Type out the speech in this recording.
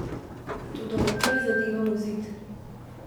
Toda odtlej zadevam v zid.